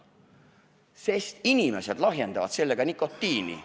Põhjenduseks toodi asjaolu, et inimesed kasutavad seda nikotiini lahjendamiseks.